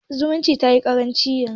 Zumunci tayi ƙaranci yanzu.